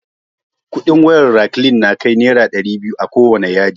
Kudin wayar raklin na kai naira dairi biyu akowane yadi